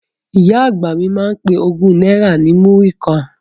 Ìyá àgbà mi máa ń pe ogún náírà ní múrí kan